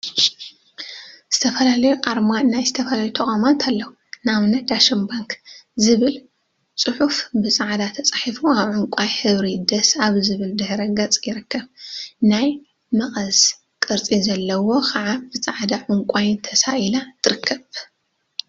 ዝተፈላዩ አርማ ናይ ዝተፈላለዩ ተቋማት አለው፡፡ ንአብነት ዳሽን ባንክ ዝብል ፅሑፈ ብፃዕዳ ተፃሒፉ አብ ዕንቋይ ሕብሪ ደስስስ አብ ዝብል ድሕረ ገፅ ይርከብ፡፡ ናይ መቀስ ቅርፂ ዘለዋ ከዓ ብፃዕዳን ዕንቋይን ተሳኢላ ትርከብ፡፡